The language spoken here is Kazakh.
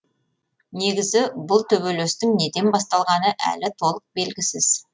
негізі бұл төбелестің неден басталғаны әлі толық белгісіз